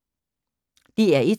DR1